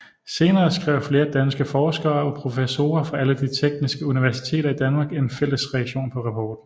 Senere skrev flere danske forskere og professorer fra alle de tekniske universiteter i Danmark en fælles reaktion på rapporten